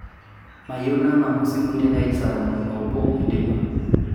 mayieu nang'amu simui teneid saa tomon o obo teipa